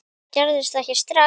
Þetta gerist ekki strax.